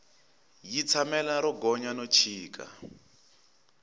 yi tshamela ro gonya no chika